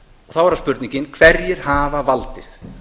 þá er það spurningin hverjir hafa valdið